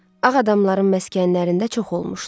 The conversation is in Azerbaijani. Ağ adamların məskənlərində çox olmuşdu.